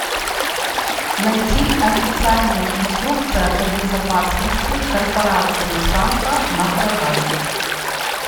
найти официальная инструкция по безопасности корпорации санта на продажу